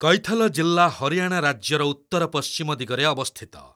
କୈଥଲ ଜିଲ୍ଲା ହରିୟାଣା ରାଜ୍ୟର ଉତ୍ତରପଶ୍ଚିମ ଦିଗରେ ଅବସ୍ଥିତ।